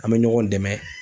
An be ɲɔgɔn dɛmɛ